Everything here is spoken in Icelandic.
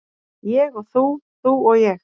Ég og þú, þú og ég.